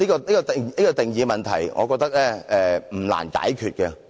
對於定義的問題，我認為也不難解決。